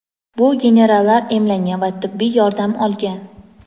bu generallar emlangan va tibbiy yordam olgan.